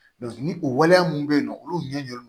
ni o waleya minnu bɛ yen nɔ olu ɲɛ bɛ